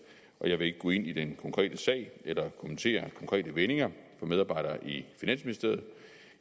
og jeg vil ikke gå ind i den konkrete sag eller kommentere konkrete vendinger fra medarbejdere i finansministeriet